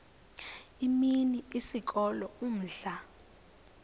imini isikolo umdlalo